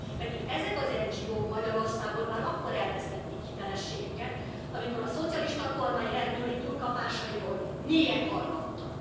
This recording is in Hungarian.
Pedig ezek az NGO k Magyarországon már akkor elvesztették hitelességüket, amikor a szocialista kormány rendőri túlkapásairól mélyen hallgattak.